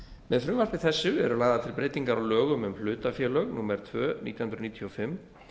með frumvarpi þessu eru lagðar til breytingar á lögum um hlutafélög númer tvö nítján hundruð níutíu og fimm